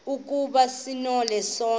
ukuba sonile sonke